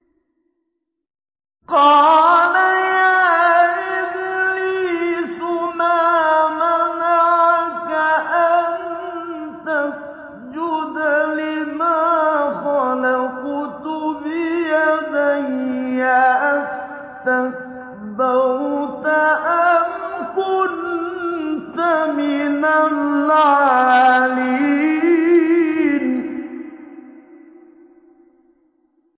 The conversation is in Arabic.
قَالَ يَا إِبْلِيسُ مَا مَنَعَكَ أَن تَسْجُدَ لِمَا خَلَقْتُ بِيَدَيَّ ۖ أَسْتَكْبَرْتَ أَمْ كُنتَ مِنَ الْعَالِينَ